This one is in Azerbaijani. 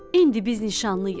İndi biz nişanlıyıq.